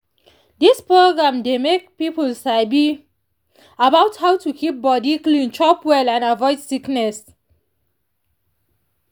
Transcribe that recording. these programs dey make people sabi about how to keep body clean chop well and avoid sickness.